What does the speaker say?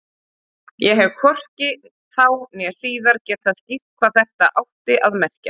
Ég hef hvorki þá né síðar getað skýrt hvað þetta átti að merkja.